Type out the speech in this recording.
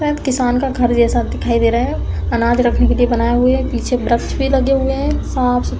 किसान का घर जैसा दिखाई दे रहा है। अनाज रखने के लिए बनाए हुए है। पीछे वृक्ष भी लगे हुए हैं। साफ़ सु --